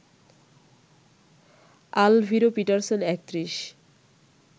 Alviro Petersen ৩১